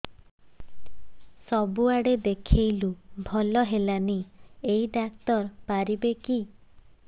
ସବୁଆଡେ ଦେଖେଇଲୁ ଭଲ ହେଲାନି ଏଇ ଡ଼ାକ୍ତର ପାରିବେ କି